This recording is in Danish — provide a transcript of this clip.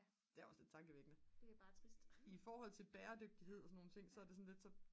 det er også lidt tankevækkende i forhold til bæredygtighed og sådan nogle ting så er det sådan lidt